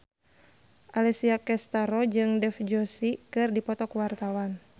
Alessia Cestaro jeung Dev Joshi keur dipoto ku wartawan